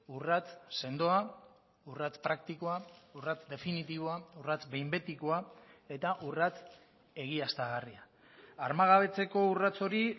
urrats sendoa urrats praktikoa urrats definitiboa urrats behin betikoa eta urrats egiaztagarria armagabetzeko urrats hori